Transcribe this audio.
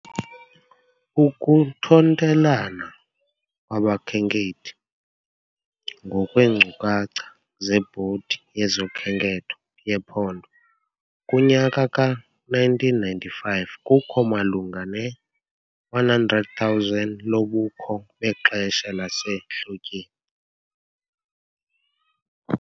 Ukuthontelana kwabakhenkethi, ngokweenkcukacha zeBhodi yezoKhenketho yePhondo, kunyaka ka -1995, kukho malunga ne-100,000 lobukho bexesha lasehlotyeni.